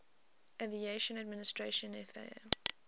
aviation administration faa